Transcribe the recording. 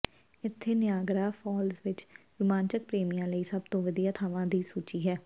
ਇੱਥੇ Niagara Falls ਵਿੱਚ ਰੁਮਾਂਚਕ ਪ੍ਰੇਮੀਆਂ ਲਈ ਸਭ ਤੋਂ ਵਧੀਆ ਥਾਵਾਂ ਦੀ ਸੂਚੀ ਹੈ